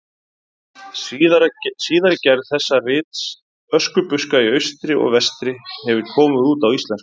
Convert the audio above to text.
Síðari gerð þessa rits, Öskubuska í austri og vestri, hefur komið út á íslensku.